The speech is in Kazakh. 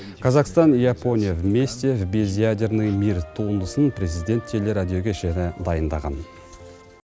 казахстан и япония вместе в без ядерный мир туындысын президент телерадио кешені дайындаған